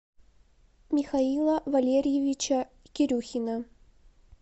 михаила валерьевича кирюхина